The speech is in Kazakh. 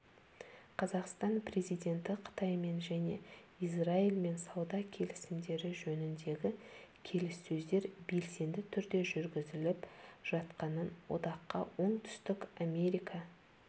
қазақстан президенті қытаймен және израильмен сауда келісімдері жөніндегі келіссөздер белсенді түрде жүргізіліп жатқанын одаққа оңтүстік америка